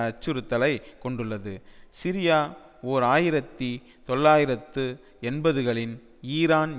அச்சுறுத்தலை கொண்டுள்ளது சிரியா ஓர் ஆயிரத்தி தொள்ளாயிரத்து எண்பதுகளின் ஈரான்